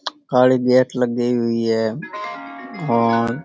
काली gate लगाई हुई है और --